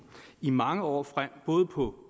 i mange år frem både på